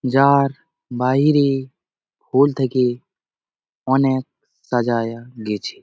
যার বাহিরে স্কুল থেকে অনেক সাজায়া গেছে ।